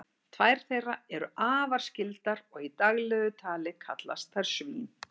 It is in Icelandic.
tvær þeirra eru afar skyldar og í daglegu tali kallast þær svín